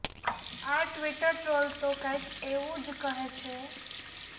આ Twitter trolls તો કંઈક એવું જ કહે છે